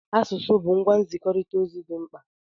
Asụsụ bụ ngwa nzikọrịta ozi dị mkpa.